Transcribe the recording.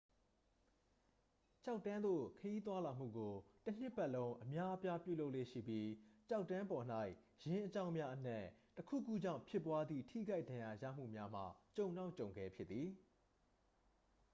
ကျောက်တန်းသို့ ခရီးသွားလာမှုကို တစ်နှစ်ပတ်လုံး အများအပြား ပြုလုပ်လေ့ရှိပြီး ကျောက်တန်းပေါ်၌ ယင်းအကြောင်းများအနက် တစ်ခုခုကြောင့်ဖြစ်ပွားသည့် ထိခိုက်ဒဏ်ရာရမှုများမှာ ကြုံတောင့်ကြုံခဲဖြစ်သည်